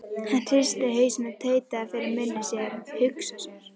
Hann hristi hausinn og tautaði fyrir munni sér: Hugsa sér.